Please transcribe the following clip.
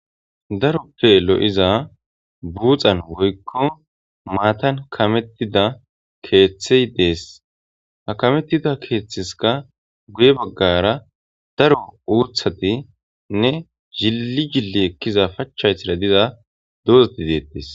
daroppe lo7iza buuxan woykko maatan kamettida keeththey dees ha kamettida keeththiska guye baggara daro uuthati nne zilli jilli ekkiza pachchaytira diza dooxa dideedees